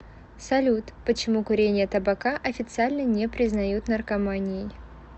салют почему курение табака официально не признают наркоманией